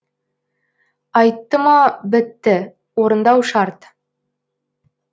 айтты ма бітті орындау шарт